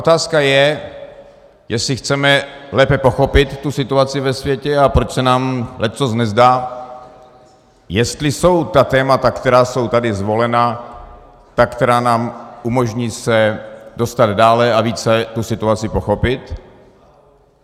Otázka je, jestli chceme lépe pochopit tu situaci ve světě a proč se nám leccos nezdá, jestli jsou ta témata, která jsou tady zvolena, ta, která nám umožní se dostat dále a více tu situaci pochopit.